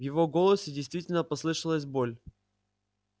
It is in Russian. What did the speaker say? в его голосе действительно послышалась боль